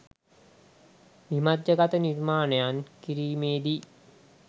විමධ්‍යගත නිර්මාණයන් කිරීමේදී